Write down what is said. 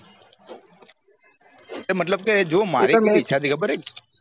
મતલબ કે જો મારે શું ઈચ્છા હતી ખબેર હે